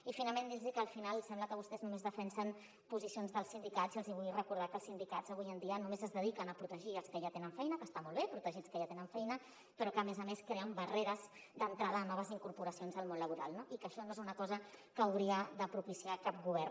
i finalment dir los que al final sembla que vostès només defensen posicions dels sindicats i els hi vull recordar que els sindicats avui en dia només es dediquen a protegir els que ja tenen feina que està molt bé protegits que ja tenen feina però que a més a més creen barreres d’entrada a noves incorporacions al món laboral no i que això no és una cosa que hauria de propiciar cap govern